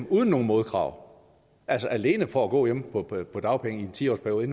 uden nogen modkrav altså alene for at gå hjemme på på dagpenge i en ti års periode